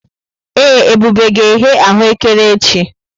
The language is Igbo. Ee, Ebube ga-eghe aghù ékẹrè echi.